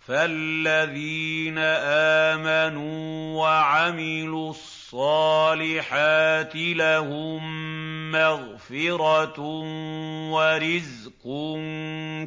فَالَّذِينَ آمَنُوا وَعَمِلُوا الصَّالِحَاتِ لَهُم مَّغْفِرَةٌ وَرِزْقٌ